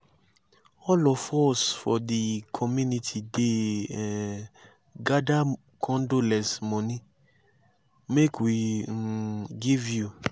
all of us for di community dey um gada condolence moni make we um give you.